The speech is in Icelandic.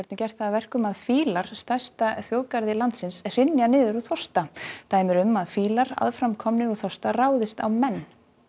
gert það að verkum að fílar stærsta þjóðgarði landsins hrynja niður úr þorsta dæmi eru um að fílar aðframkomnir úr þorsta ráðist á menn